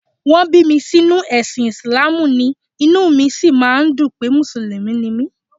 Wọ́n bí mi sínú ẹ̀sìn Ìsìláàmù ni, inú mi sì máa ń dùn pé Mùsùlùmí ni mí